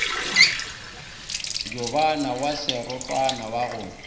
jobana wa serotwana wa go